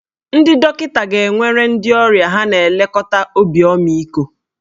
Ndị dọkịta ga-enwere ndị ọrịa ha na-elekọta obi ọmịiko